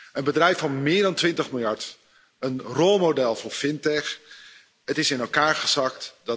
Een bedrijf van meer dan 20 miljard, een rolmodel voor fintech, is in elkaar gezakt.